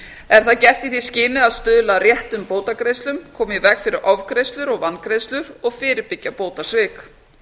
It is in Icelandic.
er það gert í því skyni að stuðla að réttum bótagreiðslum koma í veg fyrir ofgreiðslur og vangreiðslur og fyrirbyggja bótasvik